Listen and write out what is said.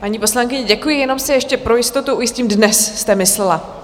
Paní poslankyně, děkuji, jenom si ještě pro jistotu ujistím: dnes jste myslela?